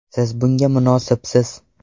Siz bunga munosibsiz!”.